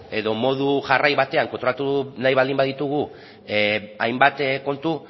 edo modu jarrai batean kontrolatu nahi baldin baditugu hainbat kontu